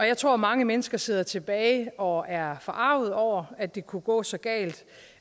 jeg tror at mange mennesker sidder tilbage og er forarget over at det kunne gå så galt